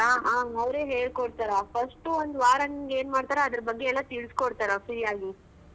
ಹ ಅವ್ರೆ ಹೇಳ್ಕೊಡ್ತರ first ಉ ಒಂದ್ ವಾರ ನಿನ್ಗ್ ಏನ್ ಮಾಡ್ತರ ಅದ್ರ ಬಗ್ಗೆ ಎಲ್ಲಾ ತಿಳ್ಸ್ಕೊಡ್ತರ free ಆಗಿ.